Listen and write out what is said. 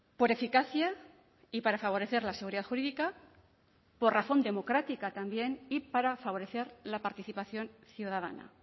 por eficacia y para favorecer la seguridad jurídica por razón democrática también y para favorecer la participación ciudadana